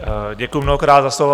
Děkuji mnohokrát za slovo.